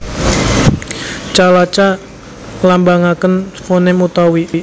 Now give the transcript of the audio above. Ca laca nglambangaken fonem utawi